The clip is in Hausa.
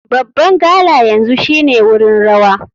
Babban gala yanzu shine wurin rawa.